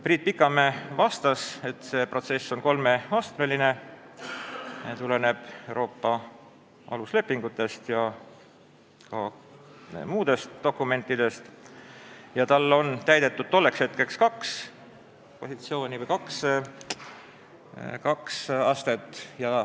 Priit Pikamäe vastas, et see protsess on kolmeastmeline ja tuleneb Euroopa aluslepingutest, samuti muudest dokumentidest, ning tal oli tolleks hetkeks täidetud kaks positsiooni või astet.